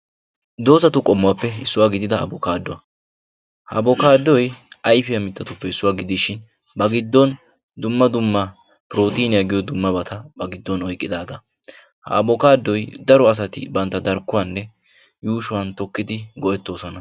Dozzatu qommuwappe issuwa gidida abbokkaaduwa ha abbokkaadoy ayfiya mitaappe issuwa gidishin ba giddon dumma dumma prootiniya giyo dummabata ba giddon oyqqidaagaa ha abbokkaadoy daro asati bantta darkkuwaninne yuushuwan tokkidi go'ettoosona.